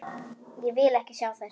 Ég vil ekki sjá þær.